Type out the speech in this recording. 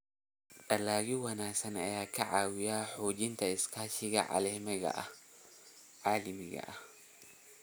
Dalagyo wanaagsan ayaa ka caawiya xoojinta iskaashiga caalamiga ah.